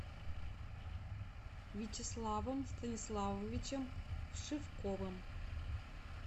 вячеславом станиславовичем вшивковым